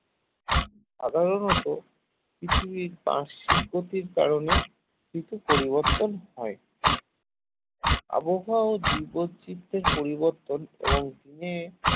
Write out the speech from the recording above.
সাধারণত পৃথিবীর বার্ষিক গতির কারণে ঋতু পরিবর্তন হয় আবহাওয়া ও দিব্য চিত্রের পরিবর্তন এবং দিনে